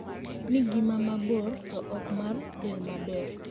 nigima mabor to ok mar del maber.